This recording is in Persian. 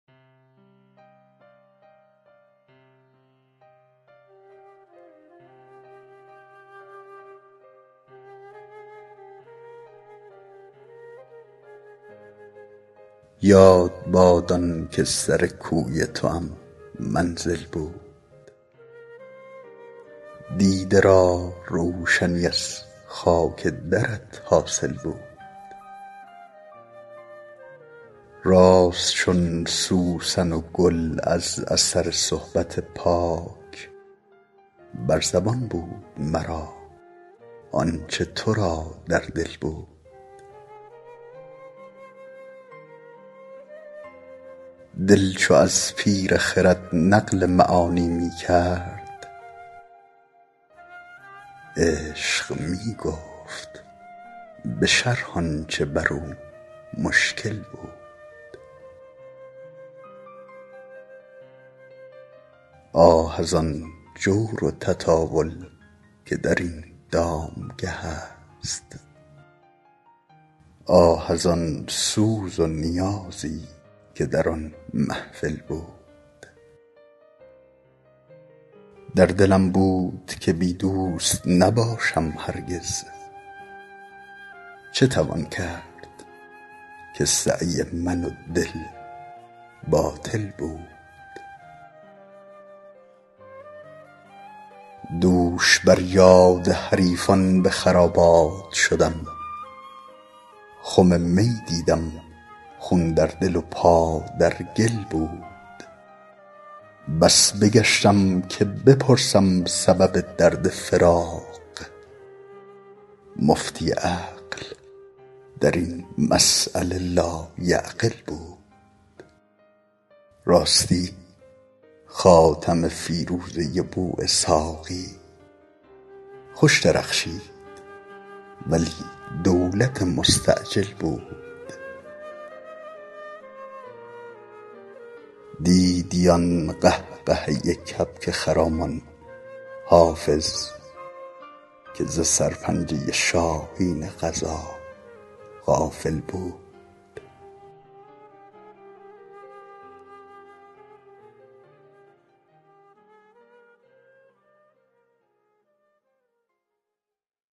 یاد باد آن که سر کوی توام منزل بود دیده را روشنی از خاک درت حاصل بود راست چون سوسن و گل از اثر صحبت پاک بر زبان بود مرا آن چه تو را در دل بود دل چو از پیر خرد نقل معانی می کرد عشق می گفت به شرح آن چه بر او مشکل بود آه از آن جور و تطاول که در این دامگه است آه از آن سوز و نیازی که در آن محفل بود در دلم بود که بی دوست نباشم هرگز چه توان کرد که سعی من و دل باطل بود دوش بر یاد حریفان به خرابات شدم خم می دیدم خون در دل و پا در گل بود بس بگشتم که بپرسم سبب درد فراق مفتی عقل در این مسأله لایعقل بود راستی خاتم فیروزه بواسحاقی خوش درخشید ولی دولت مستعجل بود دیدی آن قهقهه کبک خرامان حافظ که ز سرپنجه شاهین قضا غافل بود